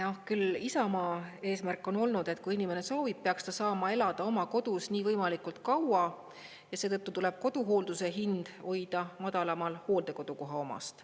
Küll Isamaa eesmärk on olnud, et kui inimene soovib, peaks ta saama elada oma kodus võimalikult kaua ja seetõttu tuleb koduhoolduse hind hoida madalamal hooldekodu koha omast.